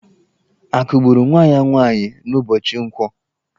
A kụgburu nwa ya nwaanyị n'ụbọchị nkwọ?